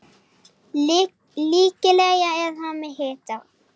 Líklega er hann með hita.